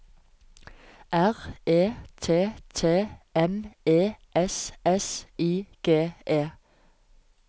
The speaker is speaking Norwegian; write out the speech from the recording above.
R E T T M E S S I G E